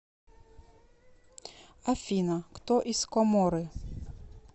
афина кто из коморы